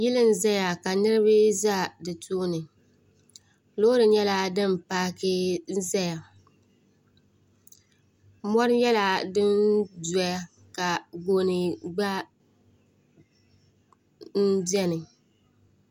yili n-zaya ka niriba za di tooni loori nyɛla din paaki n-zaya mɔri nyɛla din dɔya ka gooni gba beni